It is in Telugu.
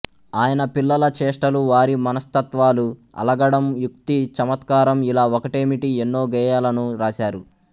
ఆయన పిల్లల చేష్టలు వారి మనస్తత్త్వాలు అలగడం యుక్తి చమత్కారం ఇలా ఒకటేమిటి ఎన్నో గేయాలను రాశారు